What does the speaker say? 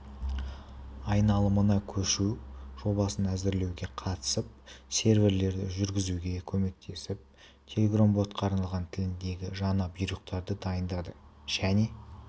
айналымына көшу жобасын әзірлеуге қатысып серверлерді жүргізуге көмектесіп телеграм-ботқа арналған тіліндегі жаңа бұйрықтарды дайындады және